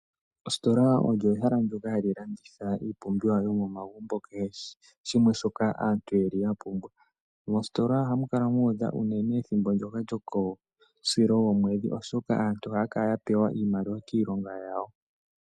Ositola olyo ehala ndoka hali landitha iipumbiwa yomomagumbo nakeshe shimwe shoka omuntu takala apumbwa. Mositola ohamu kala mwa uudha aantu uunene ethimbo ndoka lyokomusilo gwomwedhi oshoka aantu ohaya kala yapewa iimaliwa kiilonga yawo.